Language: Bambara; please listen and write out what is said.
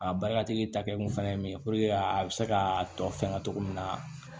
A barika kɛkun fana ye min ye puruke a bɛ se ka tɔ fɛngɛ cogo min na